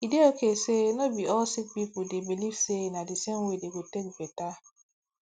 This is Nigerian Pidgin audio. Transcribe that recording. e dey okay say no be all sick pipo dey believe say na d same way dem go take better